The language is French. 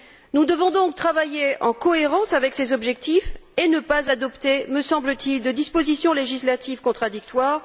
Nous devons donc travailler en cohérence avec ces objectifs et ne pas adopter, me semble t il, de dispositions législatives contradictoires.